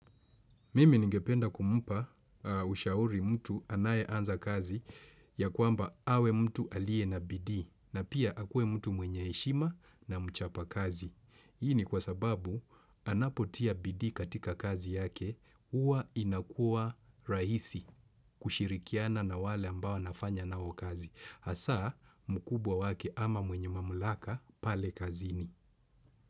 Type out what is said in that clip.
Mimi ningependa kumpa ushauri mtu anaye anza kazi ya kwamba awe mtu aliye na bidii na pia akue mtu mwenye heshima na mchapa kazi. Hii ni kwa sababu anapotia bidii katika kazi yake huwa inakua rahisi kushirikiana na wale ambao anafanya nao wakazi. Hasa mkubwa wake ama mwenye mamulaka pale kazini.